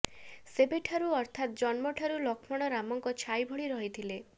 ସେବେଠାରୁ ଅର୍ଥାତ୍ ଜନ୍ମଠାରୁ ଲକ୍ଷ୍ମଣ ରାମଙ୍କ ଛାଇ ଭଳି ରହିଥିଲେ